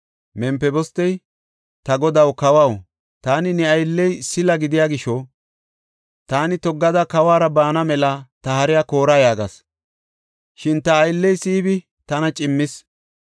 Mempibostey, “Ta godaw kawaw, taani ne aylley sila gidiya gisho ‘Taani toggada kawuwara baana mela ta hariya koora’ yaagas. Shin ta aylley Siibi tana cimmis.